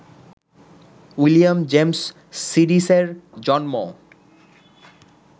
William James সিডিসের জন্ম